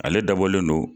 Ale dabɔlen don